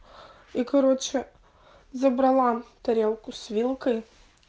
и короче забрала тарелку с вилкой